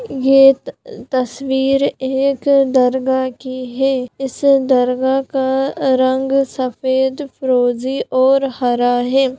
ये त-तस्वीर एक दरगाह की है इस दरगाह का अ-रंग सफेद फरोजी और हरा है।